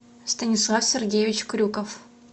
станислав сергеевич крюков